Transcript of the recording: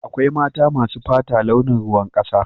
Akwai mata masu fata launin ruwan kasa.